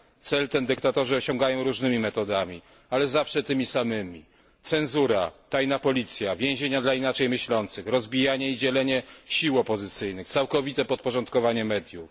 Cel ten dyktatorzy osiągają różnymi metodami, ale zawsze tymi samymi cenzura, tajna policja, więzienia dla inaczej myślących, rozbijanie i dzielenie sił opozycyjnych, całkowite podporządkowanie mediów.